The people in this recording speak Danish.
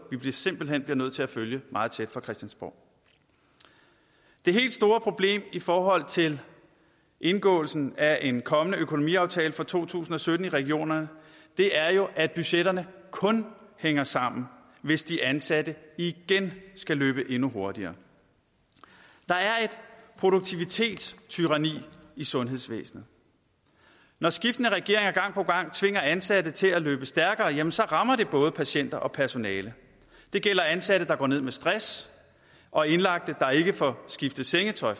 vi simpelt hen bliver nødt til at følge meget tæt fra christiansborg det helt store problem i forhold til indgåelsen af en kommende økonomiaftale for to tusind og sytten i regionerne er jo at budgetterne kun hænger sammen hvis de ansatte igen skal løbe endnu hurtigere der er et produktivitetstyranni i sundhedsvæsenet når skiftende regeringer gang på gang tvinger ansatte til at løbe stærkere jamen så rammer det både patienter og personale det gælder ansatte der går ned med stress og indlagte der ikke får skiftet sengetøj